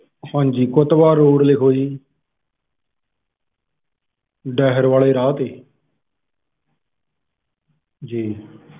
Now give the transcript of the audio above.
ਹਾਂਜੀ football road ਲਿਖੋ ਜੀ ਡਾਹੇਰ ਵਾਲੇ ਰਾਹ ਤੇ